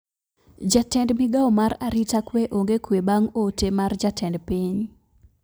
Jatend migao mar arita kwe ong`e kwe bang` ote mar jatend piny